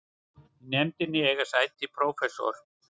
Í nefndinni eiga sæti prófessor